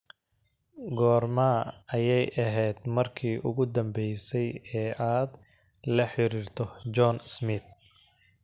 goorma ayay ahayd markii ugu dambeysay ee aad la xiriirto john smith